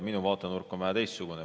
Minu vaatenurk on vähe teistsugune.